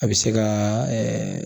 A bɛ se ka ɛɛ